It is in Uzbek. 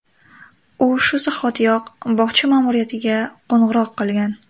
U shu zahotiyoq bog‘cha ma’muriyatiga qo‘ng‘iroq qilgan.